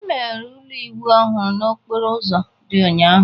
Emeghere ụlọ ịwụ ọhụrụ n'okporo ụzọ dị ụnyaahụ